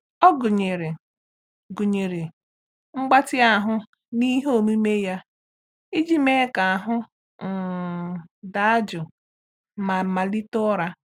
Ọ gụnyere gụnyere mgbatị ahụ n'ihe omume ya iji mee ka ahụ um daa jụụ ma melite ụra.